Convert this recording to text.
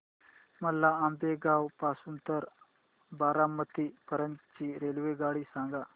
मला आंबेगाव पासून तर बारामती पर्यंत ची रेल्वेगाडी सांगा